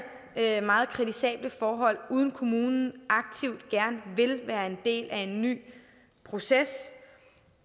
her meget kritisable forhold uden at kommunen aktivt gerne vil være en del af en ny proces